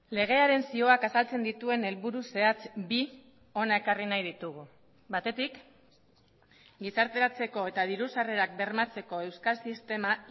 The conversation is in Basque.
legearen zioak azaltzen dituen helburu zehatz bi hona ekarri nahi ditugu batetik gizarteratzeko eta diru sarrerak bermatzeko euskal sistema